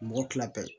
Mɔgɔ tila pe